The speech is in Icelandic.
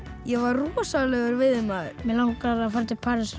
ég var rosalegur veiðimaður mig langar að fara til Parísar